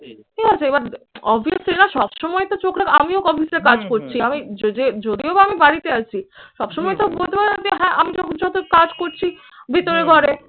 ঠিক আছে? এবার obviously না সব সময় তো চোখ রাখা আমিও office এ কাজ করছি। আমি যে যে যদিও বা আমি বাড়িতে আছি. সব সময় তো বলতে পার না যে হ্যাঁ আমি কাজ করছি ভিতরে ঘরে